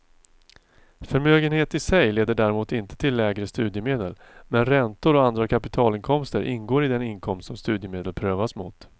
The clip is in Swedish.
Förmögenhet i sig leder däremot inte till lägre studiemedel, men räntor och andra kapitalinkomster ingår i den inkomst som studiemedel prövas mot.